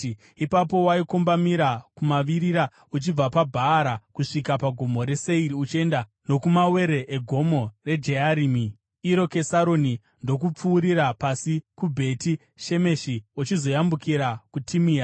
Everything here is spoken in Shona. Ipapo waikombamira kumavirira uchibva paBhaara kusvika paGomo reSeiri uchienda nokumawere eGomo reJearimi (iro Kesaroni), ndokupfuurira pasi kuBheti Shemeshi uchizoyambukira kuTimina.